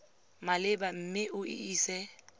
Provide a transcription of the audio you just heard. maleba mme o e ise